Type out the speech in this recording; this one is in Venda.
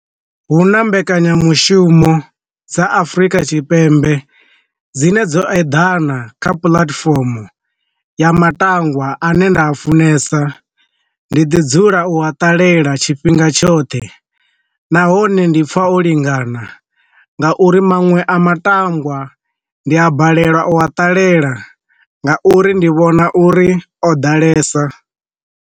Hu na mbekanyamushumo dza Afurika tshipembe dzine dzo eḓana kha puḽatifomo ya matangwa ane nda a funesa, ndi ḓi dzula u a ṱalela ḽa tshifhinga tshoṱhe, nahone ndi pfa o lingana nga uri manwe a matangwa ndi a balelwa o a ṱalela nga uri ndi vhona uri o ḓalesa.